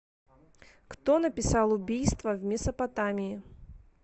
кто написал убийство в месопотамии